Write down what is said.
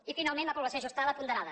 i finalment la població ajustada ponderada